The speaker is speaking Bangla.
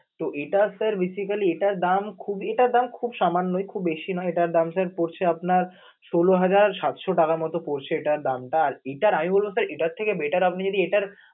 তো এটা sir basically এটার দাম এটার দাম খুব সামান্য বেশি নয়, এটার দাম sir পড়ছে পরছে আপনার ষোল হাজার সাতশ টাকার মত পড়ছে এটার দামটা আর কি, এটার আয়ু sir এটার চেয়ে better